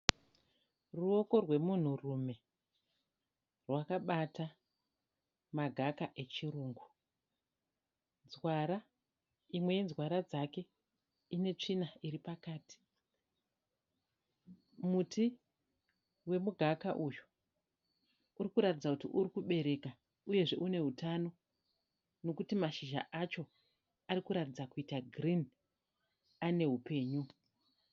Ruoko rwemunhurume rwakabata magaka rechirungu. Nzwara, imwe yenzwara dzake ine tsvina iri pakati. Muti wemugaka uyu uri kuratidza kuti uri kubereka uyezve une hutano nokuti mashizha acho ari kuratidza kuita girinhi ane hupenyu.